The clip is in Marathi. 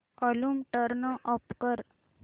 वॉल्यूम टर्न ऑफ कर